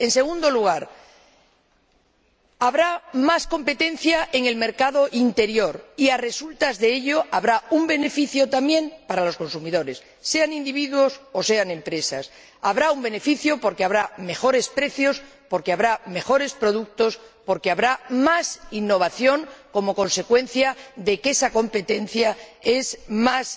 En segundo lugar, habrá más competencia en el mercado interior, y a resultas de ello habrá un beneficio también para los consumidores, sean individuos o sean empresas. Habrá un beneficio porque habrá mejores precios, porque habrá mejores productos, porque habrá más innovación como consecuencia de que esa competencia es más